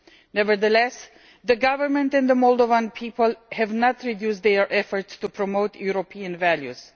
Nevertheless, the government and the Moldovan people have not reduced their efforts to promote European values.